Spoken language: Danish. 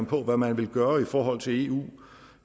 på hvad man vil gøre i forhold til eu